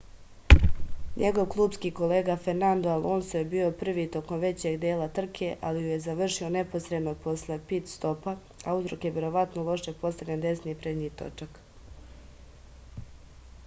njegov klupski kolega fernando alonso je bio prvi tokom većeg dela trke ali ju je završio neposredno posle pit-stopa a uzrok je verovatno loše postavljen desni prednji točak